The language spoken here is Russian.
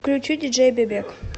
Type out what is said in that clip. включи диджей бебек